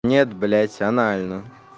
нет блядь анально